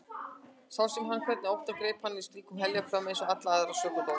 Svo sá hann hvernig óttinn greip hana sínum heljarklóm eins og alla sökudólga.